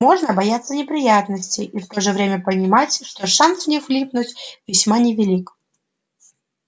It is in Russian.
можно бояться неприятностей и в то же время понимать что шанс в них влипнуть весьма невелик